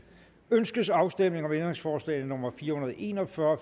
ønskes afstemning om ændringsforslag nummer fire hundrede og en og fyrre